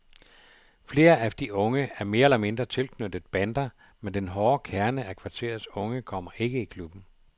Flere af de unge er mere eller mindre tilknyttet bander, men den hårde kerne af kvarterets unge kommer ikke i klubben.